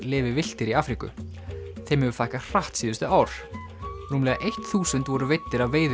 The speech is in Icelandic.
lifi villtir í Afríku þeim hefur fækkað hratt síðustu ár rúmlega eitt þúsund voru veiddir af